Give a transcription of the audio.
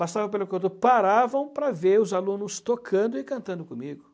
passavam pelo contorno, paravam para ver os alunos tocando e cantando comigo.